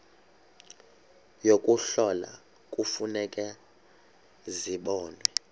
yokuhlola kufuneka zibonwe